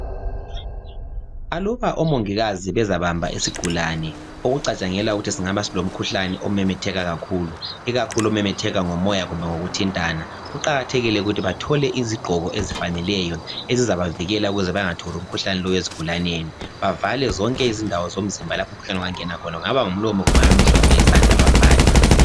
Aluba omongikazi bezabamba isigulane okucatshangelwa ukuthi singaba silomkhuhlane omemetheka kakhulu, ikakhulu omemetheka ngomoya kumbe ngokuthintana, kuqakathekile ukuthi bathole izigqoko ezifaneleyo ezizabavikela ukuze bengatholi umkhuhlane lowu ezigulaneni, bavale zonke izindawo zomzimba lapho umkhuhlane ongangena khona, kungaba ngumlomo kumbe yizandla, bavale.